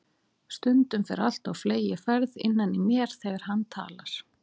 Stundum fer allt á fleygiferð innan í mér þegar hann talar.